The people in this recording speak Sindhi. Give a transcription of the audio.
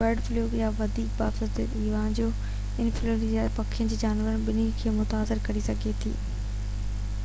برڊ فلو يا وڌيڪ باضابطه ايويان انفلوئينزا پکين ۽ جانورن ٻنهي کي متاثر ڪري سگهي ٿي